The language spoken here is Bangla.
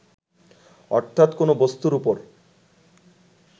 অর্থাত কোনো বস্তুর উপর